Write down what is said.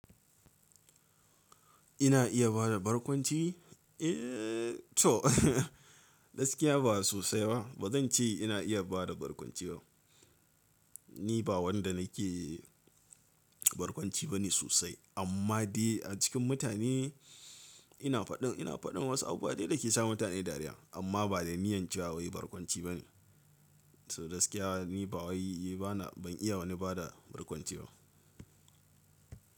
Ina iya bada barkwanci? Eee to, gaskiya ba sosai ba. Ba zan ce ina iya bada barkwanci ba. Ni ba wanda na ke barkwanci ba ne sosai. Amma dai a cikin mutane ina faɗin, ina faɗin wasu abu dai da ke sa mutane dariya. Amma ba da niyyar cewa wai barkwanci ba ne. To gaskiya ni ba wai yi, bana, ban iya wani bada barkwanci ba.